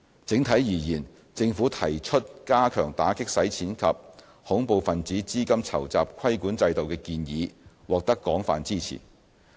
整體而言，政府提出加強打擊洗錢及恐怖分子資金籌集規管制度的建議獲得廣泛支持。